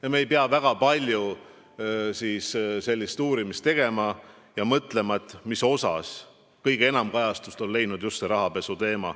Ja me ei pea väga palju uurimistööd tegema ja mõtlema, mismoodi on see rahapesu teema kõige enam kajastust leidnud.